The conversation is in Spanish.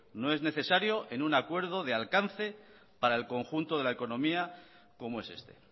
no es necesario en un acuerdo de alcance para el conjunto de la economía como es este